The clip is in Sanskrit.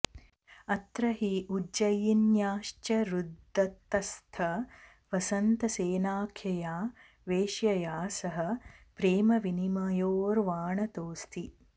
अत्र हि उज्जयिन्याश्चारुदत्तस्थ वसन्तसेनाख्यया वेश्यया सह प्रेमविनिमयो र्वाणतोऽस्ति